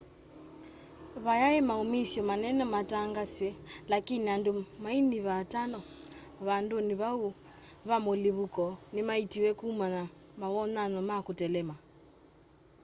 va yaĩ maũũmĩsya manene maatangaswa laĩkĩnĩ andũ maĩnyĩva atano vandũnĩ vaũ va mũlĩvũko nĩmaĩĩtĩwe kũman na mawonyanyo ma kũtelema